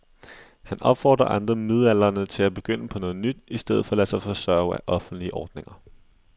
Han opfordrer andre midaldrende til at begynde på noget nyt i stedet for at lade sig forsørge af offentlige ordninger.